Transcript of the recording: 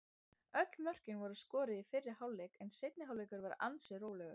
Öll mörkin voru skoruð í fyrri hálfleik en seinni hálfleikurinn var ansi rólegur.